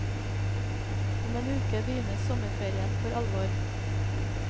Om en uke begynner sommerferien for alvor.